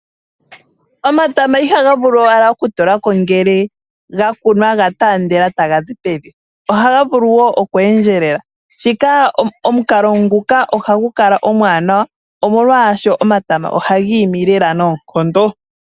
Omatama ihaga vulu wala okutulako ngele ga kunwa ga taandela taga zi pevi, ohaga vulu wo oku endjelela, shika, omukalo nguka ohagu kala omwaanawa , omolwaashoka omatama ohagi imi leela noonkondo.